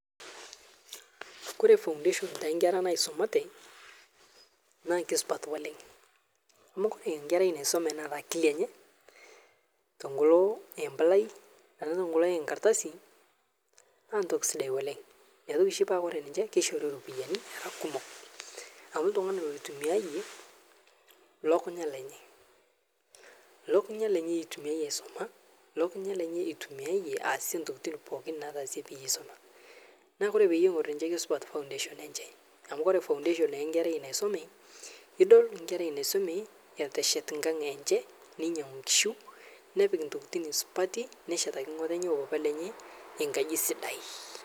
Oree foundation te nkerra naisumate naa keisupat oleng amu ore enkerai naisume neeta akili enye tenkalo eempalai ana tenkalo ee nkardasi naa ntoki sidai oleng ina oshi paa ore ninche keishori ropiyiani era kumok amu ltungani loitumiayie lukunya lenye, lukunya lenye eitumiayie aisuma lukunya lenye eitumiayie aasie ntokitin pookin naasie peyie eisuma niaku peyie eingorr ninche keisupat foundation enche amu ore naa pee eingorr foundation enkerai naisume idol nkerrai eteshet nkang enche neinyangu nkishu nepik ntokitin supati neshetaki mama oo papa lenye enkaji sidai